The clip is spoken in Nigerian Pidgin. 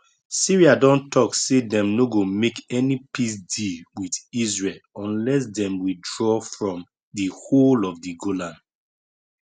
syria don tok say dem no go make any peace deal with israel unless dem withdraw from di whole of di golan